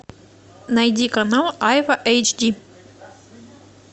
найди канал айва эйч ди